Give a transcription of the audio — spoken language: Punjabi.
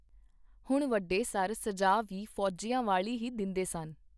ਹੁਣ ਵੱਡੇ ਸਰ ਸਜਾ ਵੀ ਫੌਜੀਆਂ ਵਾਲੀ ਹੀ ਦਿੰਦੇਸਨ.